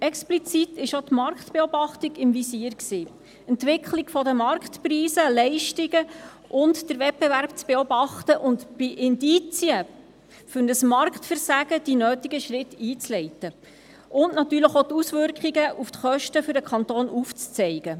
Explizit war auch die Marktbeobachtung im Visier sowie die Entwicklung der Marktpreise, der Leistungen und den Wettbewerb zu beobachten sowie bei Indizien für ein Marktversagen die nötigen Schritte einzuleiten und natürlich auch die Auswirkungen auf die Kosten für den Kanton aufzuzeigen.